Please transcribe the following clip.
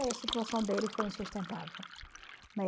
E aí a situação dele foi insustentável.